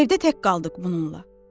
Evdə tək qaldıq bununla.